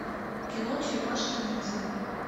кино черепашки ниндзя